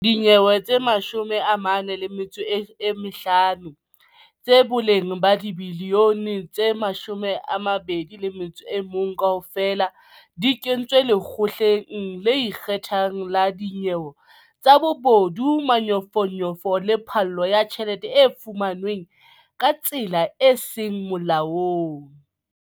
Dinyewe tse 45, tsa boleng ba dibiliyone tse 2.1 kaofela, di kentswe Lekgotleng le Ikgethang la Dinyewe tsa Bobodu, Manyofonyofo le Phallo ya Tjhelete e fumanweng ka tsela e seng Molaong.